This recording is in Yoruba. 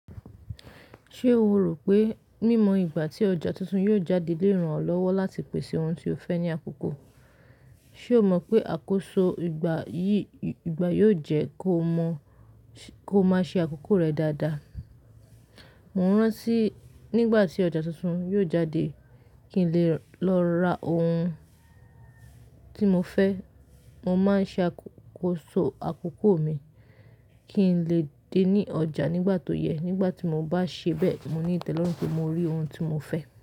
Ṣé o rò pé, mímọ ìgbà tí ọjà tuntun yóò jáde lé ràn olọ́wọ́ láti pèsè ohun tí o fẹ́ ní àkókò? Ṣé o mọ̀ pé àkóso ìgbà yìí ìgbà yóò jẹ́ kó ma kó máa ṣe àkókò rẹ dáadáa. Mo rántí nígbà tí ọjà tuntun yóò jáde kí n lè lọ ra ohun tí mo fẹ́. Mo máa ń ṣe àkóso àkókò mi kí n lè dé ní ọjà nígbà tó yẹ. Nígbà tí mo bá ṣe bẹ́ẹ̀, mo ní ìtẹ́lọ́rùn pé mo rí ohun tí mo fẹ́.